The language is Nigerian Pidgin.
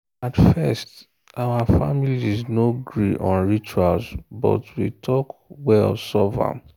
at first out families no gree on rituals but we talk well solve am.